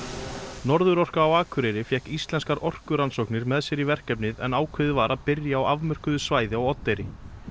Norðurorka á Akureyri fékk Íslenskar orkurannsóknir með sér í verkefnið en ákveðið var að byrja á afmörkuðu svæði á Oddeyri